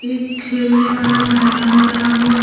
एक खेलने वाला मैदान बना हुआ है।